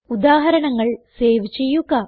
ഉദാഹരണങ്ങൾ സേവ് ചെയ്യുക